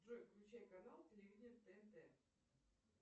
джой включай канал телевидения тнт